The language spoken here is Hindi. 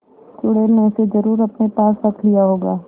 चुड़ैल ने उसे जरुर अपने पास रख लिया होगा